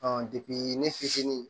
ne fitinin